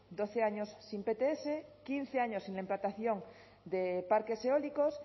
doce años sin pts quince años sin la implantación de parques eólicos